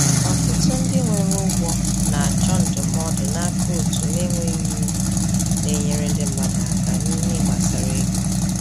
Ọtụtụ ndị nwere ụgwọ na-achọ ndụmọdụ n’aka òtù na-enweghị uru na-enyere ndị mmadụ aka n’ihe gbasara ego.